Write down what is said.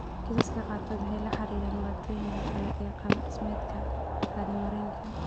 Kiisaska qaarkood waxay la xiriiraan dhibaatooyinka kale ee qaab dhismeedka kaadi mareenka.